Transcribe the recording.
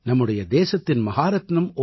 நம்முடைய தேசத்தின் மஹாரத்தினம் ஓ